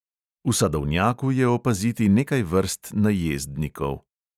V sadovnjaku je opaziti nekaj vrst najezdnikov.